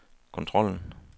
kontrollen